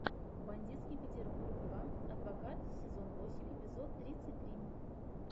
бандитский петербург два адвокат сезон восемь эпизод тридцать три